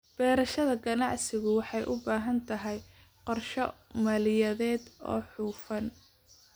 Beerashada ganacsigu waxay u baahan tahay qorshe maaliyadeed oo hufan.